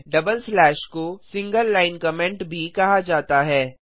टीडबल slash double slash को single line comment भी कहा जाता है